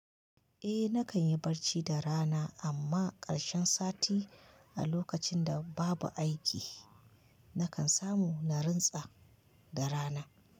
Eh nakan yi bacci da rana amma ƙarshen sati a lokacin da babu aiki nakan samu na rantsa da rana.